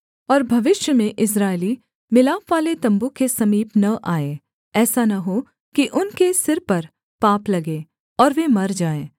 और भविष्य में इस्राएली मिलापवाले तम्बू के समीप न आएँ ऐसा न हो कि उनके सिर पर पाप लगे और वे मर जाएँ